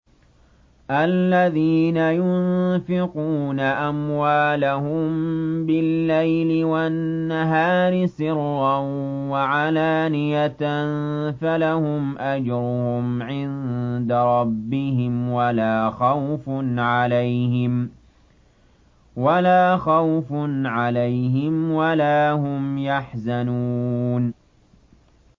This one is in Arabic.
الَّذِينَ يُنفِقُونَ أَمْوَالَهُم بِاللَّيْلِ وَالنَّهَارِ سِرًّا وَعَلَانِيَةً فَلَهُمْ أَجْرُهُمْ عِندَ رَبِّهِمْ وَلَا خَوْفٌ عَلَيْهِمْ وَلَا هُمْ يَحْزَنُونَ